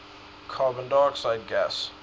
carbon dioxide gas